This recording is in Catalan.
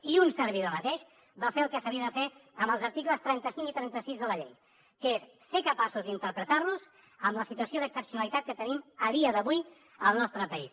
i un servidor mateix va fer el que s’havia de fer amb els articles trenta cinc i trenta sis de la llei que és ser capaços d’interpretar los en la situació d’excepcionalitat que tenim a dia d’avui al nostre país